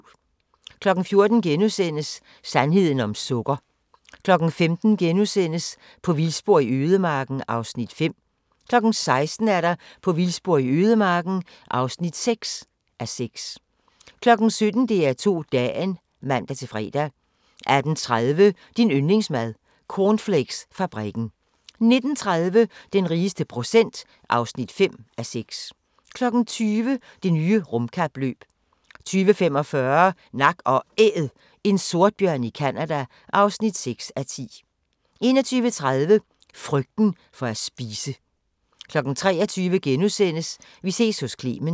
14:00: Sandheden om sukker * 15:00: På vildspor i ødemarken (5:6)* 16:00: På vildspor i ødemarken (6:6) 17:00: DR2 Dagen (man-fre) 18:30: Din yndlingsmad: Cornflakesfabrikken 19:30: Den rigeste procent (5:6) 20:00: Det nye rumkapløb 20:45: Nak & Æd – en sortbjørn i Canada (6:10) 21:30: Frygten for at spise 23:00: Vi ses hos Clement *